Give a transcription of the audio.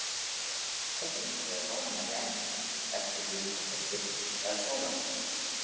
Og heimurinn roðnar í endana eftir því hvort er birting eða sólarlag.